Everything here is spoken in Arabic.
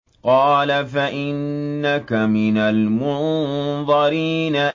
قَالَ فَإِنَّكَ مِنَ الْمُنظَرِينَ